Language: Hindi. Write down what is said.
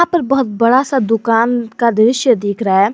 पर बहोत बड़ा सा दुकान का दृश्य दिख रहा है।